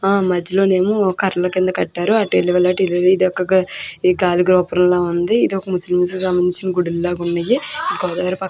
ఆ మధ్యలో ఏమో కర్రల మీద కట్టారు. ఇదొక ముస్లిం కి సంబంధించిన గుడిలా ఉంది ఇది.